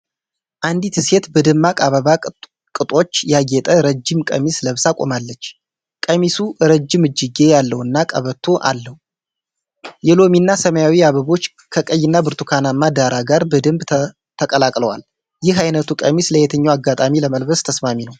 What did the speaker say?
አንዲት ሴት በደማቅ አበባ ቅጦች ያጌጠ ረጅም ቀሚስ ለብሳ ቆማለች። ቀሚሱ ረጅም እጅጌ ያለውና ቀበቶ አለው። የሎሚና ሰማያዊ አበቦች ከቀይና ብርቱካናማ ዳራ ጋር በደንብ ተቀላቅለዋል። ይህ አይነቱ ቀሚስ ለየትኛው አጋጣሚ ለመልበስ ተስማሚ ነው?